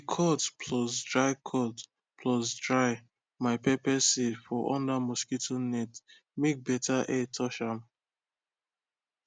i dey cut plus dry cut plus dry my pepper seed for under mosquito net make better air touch ahm